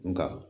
Nga